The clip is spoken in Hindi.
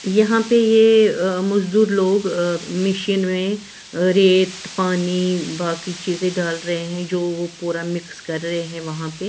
यहां पे ये मजदूर लोग अ मिशिन में रेत पानी बाकी चीजें डाल रहे हैं जो वो पूरा मिक्स कर रहे हैं वहां पे।